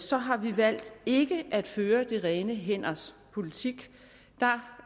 så har vi valgt ikke at føre de rene hænders politik der